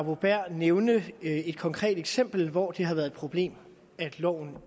arbo bæhr nævne et konkret eksempel hvor det har været et problem at loven